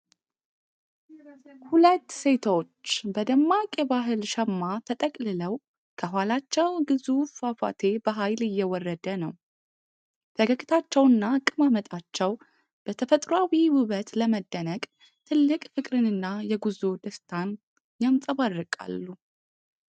ሁለት ሴቶች በደማቅ የባህል ሸማ ተጠቅልለው ከኋላቸው ግዙፍ ፏፏቴ በኃይል እየወረደ ነው። ፈገግታቸውና አቀማመጣቸው በተፈጥሮአዊ ውበት ለመደነቅ ትልቅ ፍቅርንና የጉዞ ደስታን ያንጸባርቃሉ።